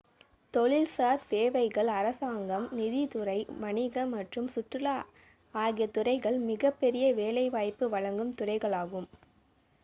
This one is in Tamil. தொழில்சார் சேவைகள் அரசாங்கம் நிதித்துறை வணிகம் மற்றும் சுற்றுலா ஆகிய துறைகள் மிகப் பெரிய வேலைவாய்ப்பு வழங்கும் துறைகளாகும்